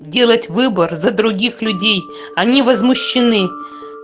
делать выбор за других людей они возмущены